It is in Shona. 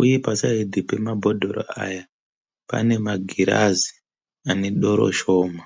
Uye paside pemabhodhoro aya panemagirazi anedoro shoma.